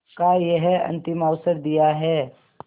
का यह अंतिम अवसर दिया है